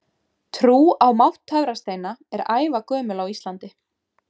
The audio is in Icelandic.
Trú á mátt töfrasteina er ævagömul á Íslandi.